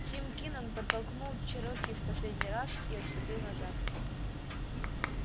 тим кинен подтолкнул чероки в последний раз и отступил назад